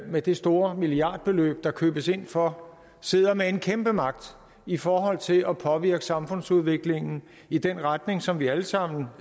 med det store milliardbeløb der købes ind for sidder med en kæmpe magt i forhold til at påvirke samfundsudviklingen i den retning som vi alle sammen